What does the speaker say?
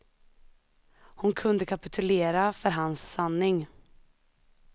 Hon kunde kapitulera för hans sanning.